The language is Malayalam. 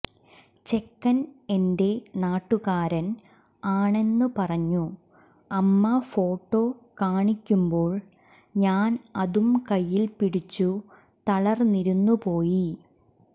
ചെക്കൻ എന്റെ നാട്ടുകാരൻ ആണെന്ന് പറഞ്ഞു അമ്മ ഫോട്ടോ കാണിക്കുമ്പോൾ ഞാൻ അതും കൈയിൽ പിടിച്ചു തളർന്നിരുന്നുപോയി